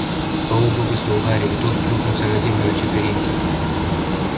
паук выпустил гарри и тот плюхнулся на землю на четвереньки